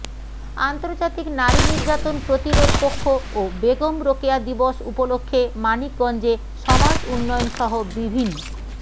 আন্তর্জাতিক নারী নির্যাতন প্রতিরোধ পক্ষ ও বেগম রোকেয়া দিবস উপলক্ষে মানিকগঞ্জে সমাজ উন্নয়নসহ বিভিন